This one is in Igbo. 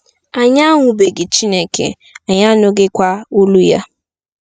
Anyị ahụbeghị Chineke, anyị anụghịkwa olu ya.